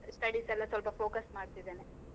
Studies ಎಲ್ಲ ಸ್ವಲ್ಪ focus ಮಾಡ್ತಿದೇನೆ.